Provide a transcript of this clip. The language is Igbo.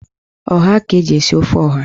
Ọha ka eji esi ofe ọha.